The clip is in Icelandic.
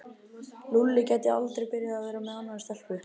Lúlli gæti aldrei byrjað að vera með annarri stelpu.